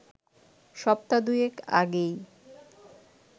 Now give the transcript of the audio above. সপ্তাহ দুয়েক আগেই